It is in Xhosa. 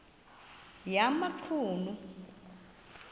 yamachunu